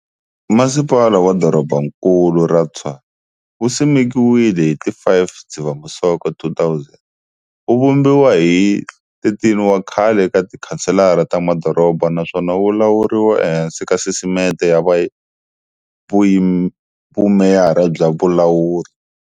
Masipala wa Dorobankulu ra Tshwane wu simekiwile hi ti 5 Dzivamisoko 2000, wu vumbiwa hi 13 wa khale ka tikhanselara ta madoroba naswona wu lawuriwa ehansi ka sisiteme ya vumeyara bya vulawuri.